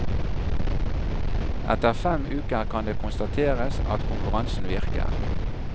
Etter fem uker kan det konstateres at konkurransen virker.